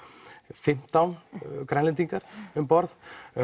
fimmtán Grænlendingar um borð